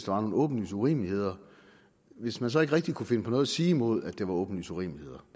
var nogle åbenlyse urimeligheder hvis man så ikke rigtig kunne finde på noget at sige imod at det var åbenlyse urimeligheder